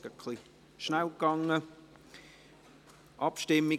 Es ging gerade etwas schnell.